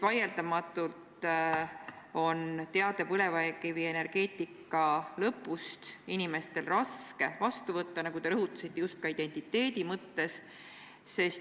Vaieldamatult on teadet põlevkivienergeetika lõpust inimestel raske vastu võtta, nagu te rõhutasite, ka identiteedi mõttes.